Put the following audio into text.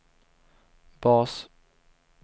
bas